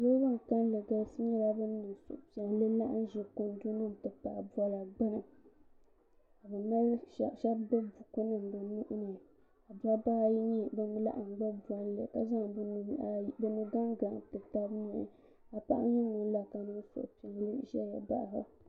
niraba bin kanli galisi nyɛla bin niŋ suhupiɛlli laɣam ʒɛ kundu nim mini bɔla gbuni ka shab gbubi buku nim bi nuuni ka dabba ayi laɣam gbubi bolli ka zaŋ bi nu gaŋ gaŋ n ti tabili ka paɣa nyɛ ŋun la ka niŋ suhupiɛlli ʒɛya baɣaba